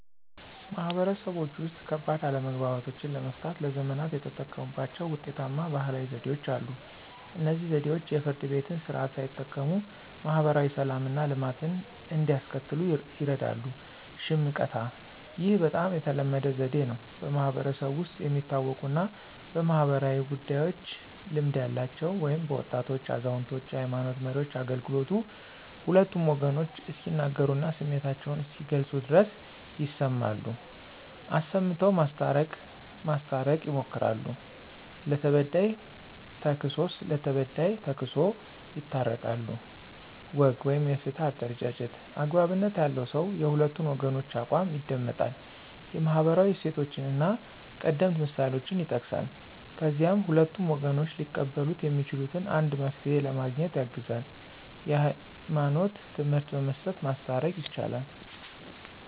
ማህበረሰቦች ውስጥ፣ ከባድ አለመግባባቶችን ለመፍታት ለዘመናት የተጠቀሙባቸው ውጤታማ ባህላዊ ዘዴዎች አሉ። እነዚህ ዘዴዎች የፍርድ ቤትን ስርዓት ሳይጠቀሙ ማህበራዊ ሰላምና ልማትን እንዲያስከትሉ ይርዳሉ። ሽምቀታ (፦ ይህ በጣም ተለመደው ዘዴ ነው። በማህበረሰቡ ውስጥ የሚታወቁና በማኅበራዊ ጉዳዮች ልምድ ያላቸው (በወጣቶች፣ አዛውንቶች፣ የሃይማኖት መሪዎች) አገልግሎቱ ሁለቱም ወገኖች እስኪናገሩና ስሜታቸውን እስኪገልጹ ድረስ ይሰማሉ፣ አሰምተው ማስታረቅ ማስታረቅ ይሞክራሉ። ለተበዳይ ተክስሶ ለበዳይ ተክሶ ይታረቃሉ። ወግ (የፍትህ አደረጃጀት)፦ )" አግባብነት ያለው ሰው የሁለቱን ወገኖች አቋም ይደመጣል፣ የማህበራዊ እሴቶችንና ቀደምት ምሳሌዎችን ይጠቅሳል፣ ከዚያም ሁለቱም ወገኖች ሊቀበሉት የሚችሉትን አንድ መፍትሄ ለማግኘት ያግዛል። የህይማኖት ትምህርት በመስጠት ማስታረቅ። ይቻላል